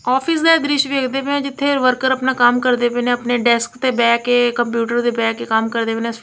Office ਦਾ ਦ੍ਰਿਸ਼ ਵੇਖਦੇ ਪਏ ਆ ਜਿੱਥੇ ਵਰਕਰ ਆਪਣਾ ਕੰਮ ਕਰਦੇ ਪਏ ਨੇ ਆਪਣੇ ਡੈਸਕ ਤੇ ਬਹਿ ਕੇ ਕੰਪਿਊਟਰ ਤੇ ਬਹਿ ਕੇ ਕੰਮ ਕਰਦੇ ਪਏ ਨੇ।